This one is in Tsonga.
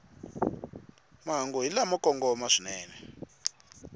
mahungu hi lamo kongoma swinene